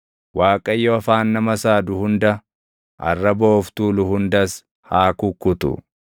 Waaqayyo afaan nama saadu hunda, arraba of tuulu hundas haa kukkutu;